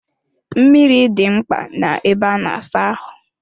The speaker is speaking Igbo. Mmiri dị mkpa na ebe a na-asa ahụ.